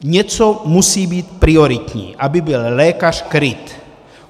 Něco musí být prioritní, aby byl lékař kryt.